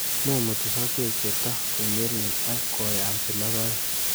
Mumuti sokek cheto konyelnyel ok koyamsi logoek